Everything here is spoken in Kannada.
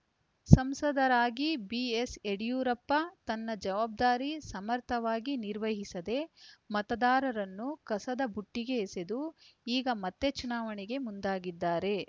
ಸಂಸದರಾಗಿ ಬಿಎಸ್‌ ಯಡಿಯೂರಪ್ಪ ತನ್ನ ಜವಾಬ್ದಾರಿ ಸಮರ್ಥವಾಗಿ ನಿರ್ವಹಿಸದೇ ಮತದಾರರನ್ನು ಕಸದ ಬುಟ್ಟಿಗೆ ಎಸೆದು ಈಗ ಮತ್ತೆ ಚುನಾವಣೆಗೆ ಮುಂದಾಗಿದ್ದಾರೆ